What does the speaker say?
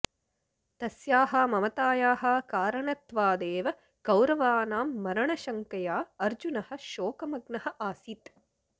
तस्याः ममतायाः कारणत्वादेव कौरवानां मरणशङ्कया अर्जुनः शोकमग्नः आसीत्